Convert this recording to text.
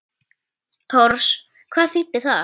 Tors. hvað þýðir það?